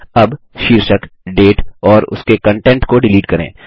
अब शीर्षक डेट और उसके कंटेंट को डिलीट करें